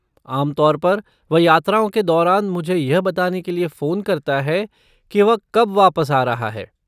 आम तौर पर वह यात्राओं के दौरान मुझे यह बताने के लिए फ़ोन करता है कि वह कब वापस आ रहा है।